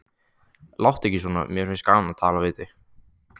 Láttu ekki svona, mér finnst gaman að tala við þig.